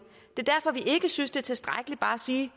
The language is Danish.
er derfor vi ikke synes det er tilstrækkeligt bare at sige